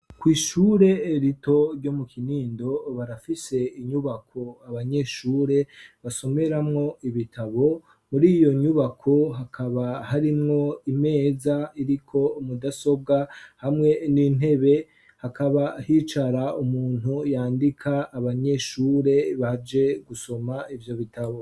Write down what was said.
Kw'ishure rito ryo mu Kinindo barafise inyubako abanyeshure basomeramwo ibitabo, muri iyo nyubako hakaba harimwo imeza iriko mudasobwa hamwe n'intebe. hakaba hicara umuntu yandika abanyeshure baje gusoma ivyo bitabo.